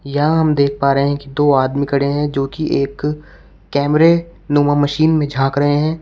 यहां हम देख पा रहे हैं कि दो आदमी खड़े हैं जोकि एक कैमरे नुमा मशीन में झांक रहे हैं।